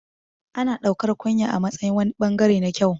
Ana ɗaukar kunya a matsayin wani ɓangare na kyau